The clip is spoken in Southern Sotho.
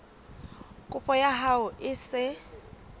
kopo ya hao e se